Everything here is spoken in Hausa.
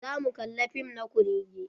Za mu kalla fim na kurrege.